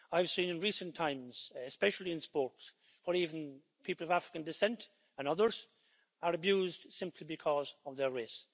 I've seen in recent times, especially in sports, where even people of African descent and others, are abused simply because of their race.